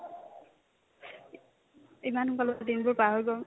ইমান সোনকালে দিনবোৰ পাৰ হৈ গ'ল